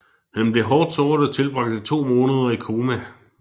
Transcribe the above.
Han blev hårdt såret og tilbragte to måneder i koma